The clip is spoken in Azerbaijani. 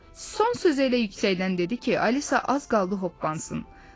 O son sözü elə yüksəkdən dedi ki, Alisa az qaldı hoppansın.